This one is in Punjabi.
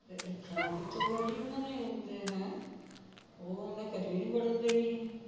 ਰੱਖਣਾ ਕਿੱਥੋ ਦੀ ਐ ਜੀ ਉਹਨਾਂ ਨੇ ਹੈ ਉਹ ਉਹਨਾਂ ਕਦੇ ਵੀ ਨਹੀ ਵੱੜਣ ਦੇਣੀ